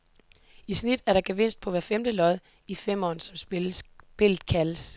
I snit er der gevinst på hvert femte lod i femeren, som spillet kaldes.